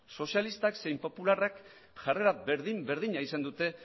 sozialistak zein popularrak jarrera berdin berdina izan dute